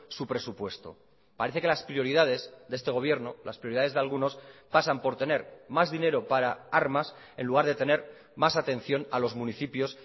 su presupuesto parece que las prioridades de este gobierno las prioridades de algunos pasan por tener más dinero para armas en lugar de tener más atención a los municipios